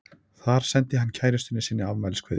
Þar sendi hann kærustunni sinni afmæliskveðju.